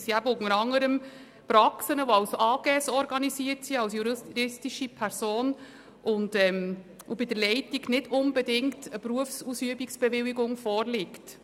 Das sind eben unter anderem Praxen, die als Aktiengesellschaft organisiert sind, also als juristische Person, und wo die Leitung nicht unbedingt über eine Berufsausübungsbewilligung verfügt.